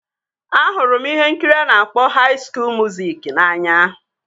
Ahụrụ m ihe nkiri a na-akpọ haị skuul muziki n'anya